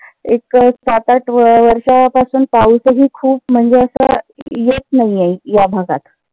एक सात आठ वर्षा पासून पाऊसही खूप म्हणजे अस येत नाहीये. या भागात